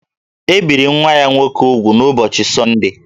E biri nwa ha nwoke úgwù n’ụbọchị Sọndee